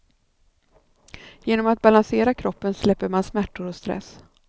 Genom att balansera kroppen släpper man smärtor och stress.